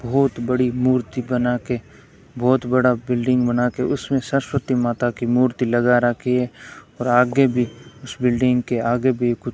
बहुत बड़ी मूर्ति बना के बहुत बड़ा बिल्डिंग बना के उसमें सरस्वती माता की मूर्ति लगा रखी है और आगे भी उस बिल्डिंग के आगे भी कु --